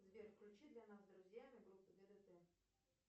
сбер включи для нас с друзьями группу ддт